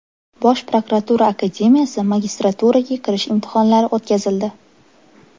Bosh prokuratura akademiyasi magistraturasiga kirish imtihonlari o‘tkazildi.